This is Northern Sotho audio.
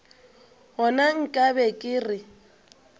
gona nka be ke re